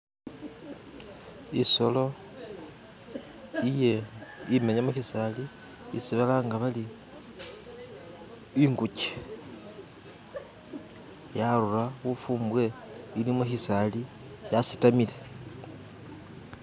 Isolo imenya mukyisali isi balanga bari ingukye yarura bufumbwe ili mukhisali yasitamile